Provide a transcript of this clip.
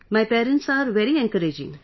My parents are very encouraging